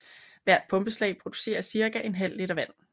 Hvert pumpeslag producerer cirka en halv liter vand